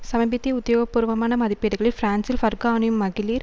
சமீபத்திய உத்தியோகபூர்வமான மதிப்பீடுகள் பிரான்சில் பர்கா அணியும் மகளிர்